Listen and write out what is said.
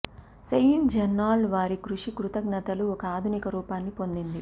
Saint Bernard వారి కృషి కృతజ్ఞతలు ఒక ఆధునిక రూపాన్ని పొందింది